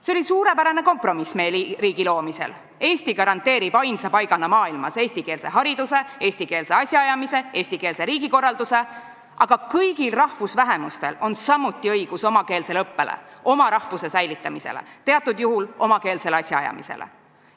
" See oli suurepärane kompromiss meil riigi loomisel – Eesti garanteerib ainsa paigana maailmas eestikeelse hariduse, eestikeelse asjaajamise, eestikeelse riigikorralduse, aga kõigil rahvusvähemustel on samuti õigus omakeelsele õppele, oma rahvuse säilitamisele, teatud juhul omakeelsele asjaajamisele.